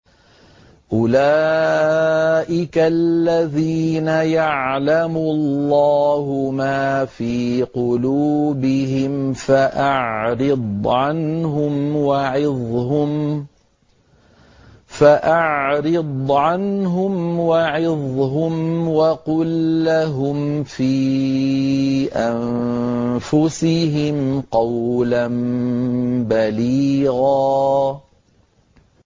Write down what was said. أُولَٰئِكَ الَّذِينَ يَعْلَمُ اللَّهُ مَا فِي قُلُوبِهِمْ فَأَعْرِضْ عَنْهُمْ وَعِظْهُمْ وَقُل لَّهُمْ فِي أَنفُسِهِمْ قَوْلًا بَلِيغًا